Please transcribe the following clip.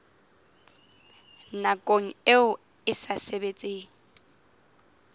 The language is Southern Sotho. nakong eo e sa sebetseng